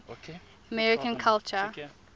american culture